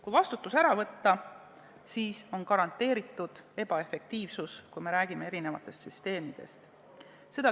Kui vastutus ära võtta, siis on garanteeritud ebaefektiivsus – ma pean silmas erinevaid süsteeme.